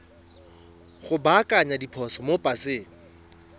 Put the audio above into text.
go baakanya diphoso mo paseng